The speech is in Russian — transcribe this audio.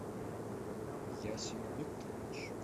ясин викторович